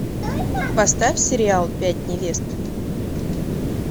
поставь сериал пять невест